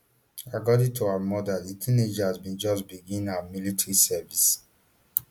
according to her mother di teenager bin just begin her military service